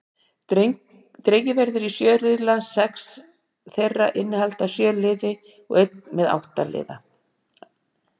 Dregið verður í sjö riðla, sex þeirra innihalda sjö lið og einn með átta lið.